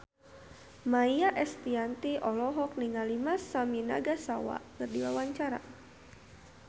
Maia Estianty olohok ningali Masami Nagasawa keur diwawancara